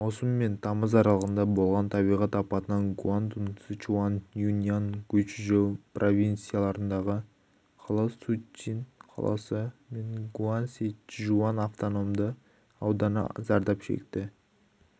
маусым мен тамыз аралығында болған табиғат апатынан гуандун сычуань юньнань гуйчжоу провинцияларындағы қала чунцин қаласы мен гуанси-чжуан автономды ауданы зардап шекті